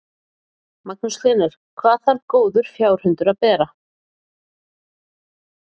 Magnús Hlynur: Hvað þarf góður fjárhundur að bera?